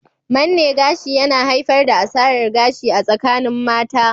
Manne gashi yana haifar da asarar gashi a tsakanin mata.